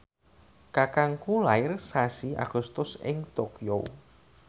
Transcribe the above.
kakangku lair sasi Agustus ing Tokyo